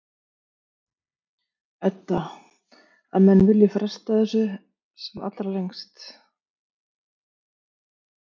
Edda: Að menn vilji fresta þessu sem allra lengst?